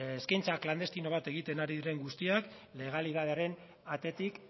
eskaintza klandestino bat egiten ari diren guztiak legalitatearen atetik